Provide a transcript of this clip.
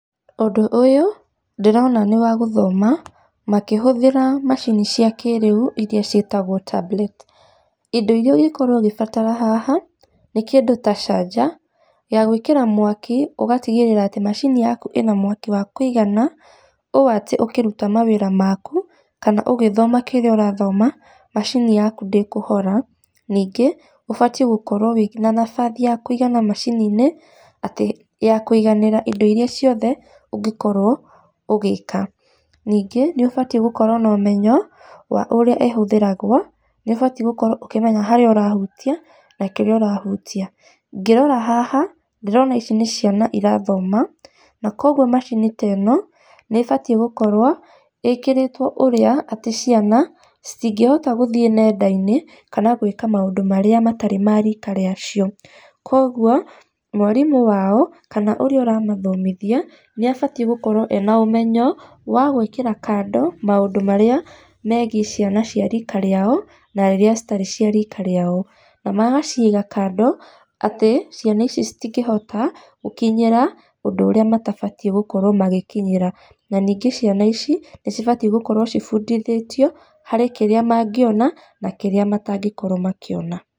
Ũndũ ũyũ, ndĩrona nĩ wa gũthoma, makĩhũthĩra macini cia kĩrĩu iria ciĩtagwo tablet. Indo iria ũngĩkorwo ũgĩbatara haha nĩ kĩndũ ta canja, ya gwĩkĩra mwaki ũgatigĩrĩra atĩ macini yaku ĩna mwaki wa kũigana o atĩ ũkĩruta mawĩra maku, kana ũgĩthoma kĩrĩa ũrathoma, macini-inĩ yaku ndĩkũhora. Ningĩ ũbatiĩ gũkorwo wĩna bathi ya kũigana macini-inĩ atĩ ya kũiganĩra indo iria ciothe ũngĩkorwo ũgĩka. Ningĩ nĩ ũbatiĩ gũkorwo na ũmenyo wa ũrĩa ĩhũthĩragwo, nĩ ũbatiĩ gũkorwo ũkĩmenya harĩa ũrahutia na kĩrĩa ũrahutia. Ngĩrora haha ndĩrona ici nĩ ciana irathoma, na koguo macini ta ĩno nĩ ĩbatiĩ gũkorwo ĩkĩrĩtwo ũrĩa atĩ ciana ci ngĩhota gũthiĩ nenda-inĩ kana gwĩka maũndũ marĩa matarĩ ma rika rĩacio. Kũguo mwarimũ wao kana ũrĩa ũramathomithia nĩ abatiĩ gũkorwo ena ũmenyo wa gwĩkĩra kando maũndũ marĩa megiĩ ciana cia rika rĩao, na iria citarĩ cia rika rĩao. Na magaciga kando atĩ ciana ici citingĩhota gũkinyĩra ũndũ ũrĩa matabatiĩ gũkorwo magĩkinyĩra. Na ningĩ ciana ici nĩ cibatiĩ gũkorwo cibundithĩtio harĩ kĩrĩa mangĩona na kĩrĩa matangĩkorwo makĩona.